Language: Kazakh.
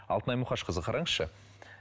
алтынай мұқашқызы қараңызшы